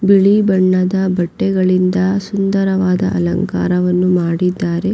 ಬಿಳಿ ಬಣ್ಣದ ಬಟ್ಟೆಗಳಿಂದ ಸುಂದರವಾದ ಅಲಂಕಾರವನ್ನು ಮಾಡಿದ್ದಾರೆ.